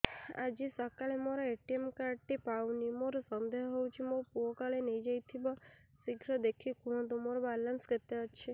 ଆଜି ସକାଳେ ମୋର ଏ.ଟି.ଏମ୍ କାର୍ଡ ଟି ପାଉନି ମୋର ସନ୍ଦେହ ହଉଚି ମୋ ପୁଅ କାଳେ ନେଇଯାଇଥିବ ଶୀଘ୍ର ଦେଖି କୁହନ୍ତୁ ମୋର ବାଲାନ୍ସ କେତେ ଅଛି